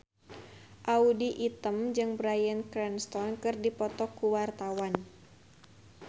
Audy Item jeung Bryan Cranston keur dipoto ku wartawan